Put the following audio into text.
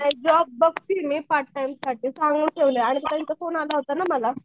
नाही जॉब बघतीये मी पार्टटाइम साठी सांगून ठेवलय ताईंचा फोन आला होता ना मला.